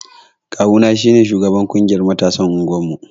Ƙawu na shine sugaban ƙungiyar matasan unguwar mu.